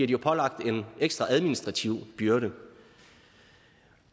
de pålagt en ekstra administrativ byrde